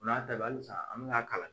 O n'a ta bɛɛ halisa an bɛ k'a kalan.